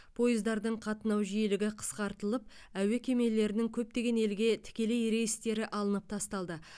пойыздардың қатынау жиілігі қысқартылып әуе кемелерінің көптеген елге тікелей рейстері алынып тасталды